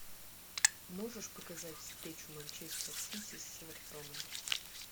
можешь показать встречу манчестер сити с эвертоном